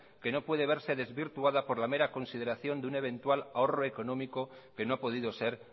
que no puede verse desvirtuada por la mera consideración de un eventual ahorro económico que no ha podido ser